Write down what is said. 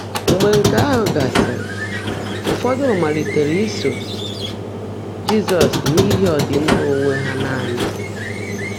Mgbe nkè áhụ́ gásị́rị́, ụfọ́dụ́ máliitèré ísó Jị́zọ́s n’íhí ọ́dị́mmà óńwé há nàní.